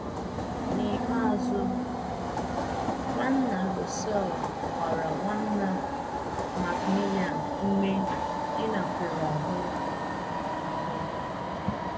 N’ikpeazụ, Nwanna Russell gbara Nwanna Macmillan ume ịnakwere ahụ. ahụ.